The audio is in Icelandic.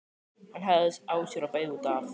Hann hægði á sér og beygði út af.